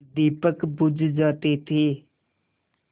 दीपक बुझ जाते थे